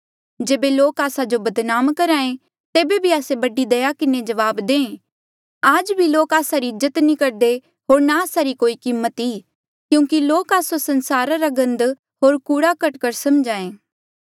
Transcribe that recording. जेबे लोक आस्सा जो बदनाम करहा ऐें तेबे भी आस्से बड़ी दया किन्हें जबाब दें आज भी लोक आस्सा री इज्जत नी करदे होर ना आस्सा री कोई कीमत ई क्यूंकि लोक आस्सो संसारा रा गंद होर कूड़ाकरकट समझे